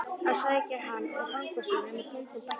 að sækja hann og fanga svo, nema bóndinn bætti.